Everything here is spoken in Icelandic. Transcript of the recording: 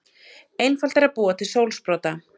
Einfalt er að búa til sólsprota.